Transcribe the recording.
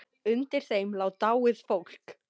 Undir þeim lá dáið fólk.